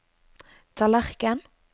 tallerken